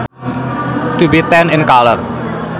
To be tan in color